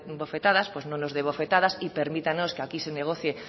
bofetadas pues no nos dé bofetadas y permítanos que aquí se negocie